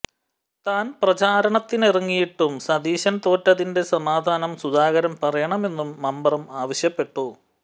താൻ പ്രചാരണത്തിനിറങ്ങിയിട്ടും സതീശൻ തോറ്റതിന്റെ സമാധാനം സുധാകരൻ പറയണമെന്നും മമ്പറം ആവശ്യപ്പെട്ടു